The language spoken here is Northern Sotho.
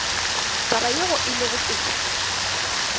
taba yeo e lego pele